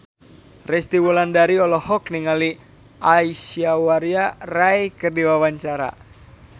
Resty Wulandari olohok ningali Aishwarya Rai keur diwawancara